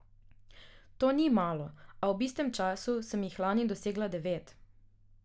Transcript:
To ni malo, a ob istem času sem jih lani dosegla devet.